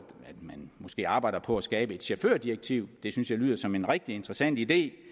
man måske arbejder på at skabe et chaufførdirektiv det synes jeg lyder som en rigtig interessant idé